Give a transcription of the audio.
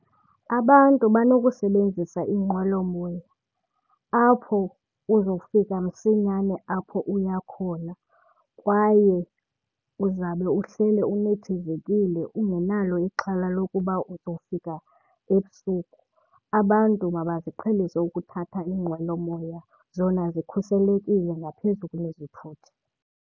Abantu banokusebenzisa iinqwelomoya apho uzofika msinyane apho uya khona kwaye uzabe uhleli unethezekile ungenalo ixhala lokuba uzofika ebusuku. Abantu mabaziqhelise ukuthatha iinqwelomoya, zona zikhuselekile ngaphezu kunezithuthi.